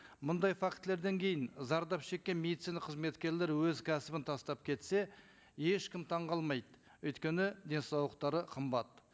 мындай фактілерден кейін зардап шеккен медицина қызметкерлері өз кәсібін тастап кетсе ешкім таңғалмайды өйткені денсаулықтары қымбат